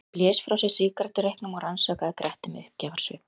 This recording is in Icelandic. Hann blés frá sér sígarettureyknum og rannsakaði Gretti með uppgjafarsvip.